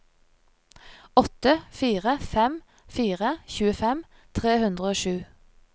åtte fire fem fire tjuefem tre hundre og sju